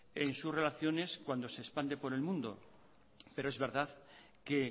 en su relaciones cuando se expande por el mundo pero es verdad que